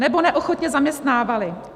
- nebo neochotně zaměstnávali.